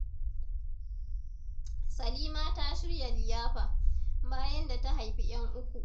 Salima ta shirya liyafa, bayan da ta haifi 'yan uku.